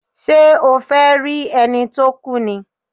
Ṣé o fẹ́ rí ẹni tó kú ni?